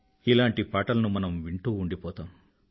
ఇలాంటి పాటలను మనం వింటూ ఉండిపోతాం